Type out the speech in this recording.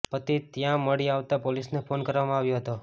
પતિ ત્યાં મળી આવતાં પોલીસને ફોન કરવામાં આવ્યો હતો